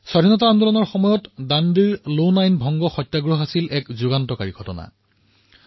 স্বাধীনতাৰ আন্দোলনত লোণ সত্যাগ্ৰহ দাণ্ডীৰ এক বৃহৎ ভূমিকা আছে